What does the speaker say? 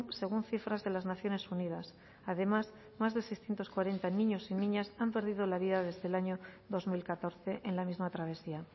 según cifras de las naciones unidas además más de seiscientos cuarenta niños y niñas han perdido la vida desde el año dos mil catorce en la misma travesía